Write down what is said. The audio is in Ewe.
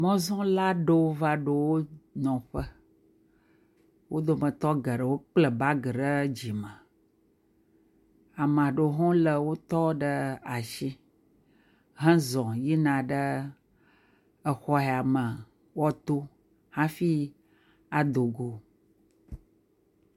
Mɔzɔla aɖewo va ɖo wo nɔƒe, wo dometɔ geɖewo kpla bagi ɖe dzime ame aɖewo lé wotɔ ɖe asi hezɔ yina ɖe exɔ ya me woto hafi adogo.